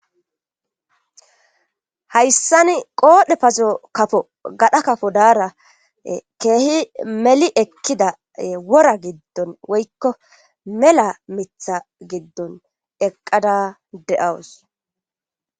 Hayssani qoodhe pazo kafo gadha kafo daara keehi meli ekkida wora giddon woykko mela mitha giddon eqqada de'awus.